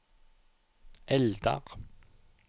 Eldar